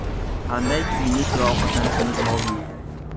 Qanday kiyinish va ovqatlanishimiz lozim?